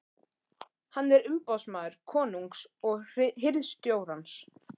Hann er umboðsmaður konungs og hirðstjórans.